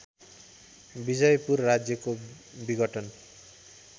विजयपुर राज्यको विघटन